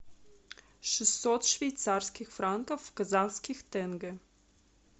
шестьсот швейцарских франков в казахских тенге